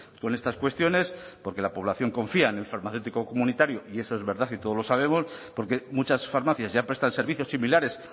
con estas cuestiones porque la población confía en el farmacéutico comunitario y eso es verdad y todos lo sabemos porque muchas farmacias ya prestan servicios similares